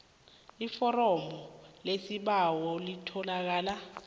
iforomo lesibawo elitholakala